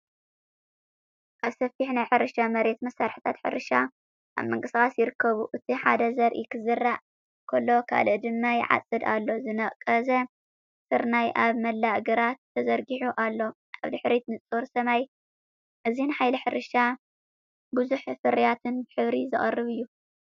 ኣብ ሰፊሕ ናይ ሕርሻ መሬት መሳርሒታት ሕርሻ ኣብ ምንቅስቓስ ይርከቡ፤ እቲ ሓደ ዘርኢ ክዘርእ ከሎ ካልእ ድማ ይዓጽድ ኣሎ። ዝነቐጸ ስርናይ ኣብ መላእ ግራት ተዘርጊሑ ኣሎ፣ ኣብ ድሕሪት ንጹር ሰማይ። እዚ ንሓይሊ ሕርሻን ብዝሒ ፍርያትን ብሕብሪ ዘቕርብ እዩ።